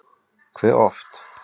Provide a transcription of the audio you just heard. Hve oft?